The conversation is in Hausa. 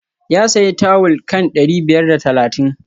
Ya sayi tawul kan dari biyar da talatin